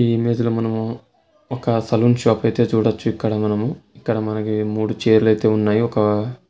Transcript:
ఈ ఇమేజ్ మనము ఒక సెలూన్ షాప్ అయితే చూడొచ్చు ఇక్కడ మనము. ఇక్కడ మనకి మూడు చైర్లు అయితే ఉన్నాయి. ఒక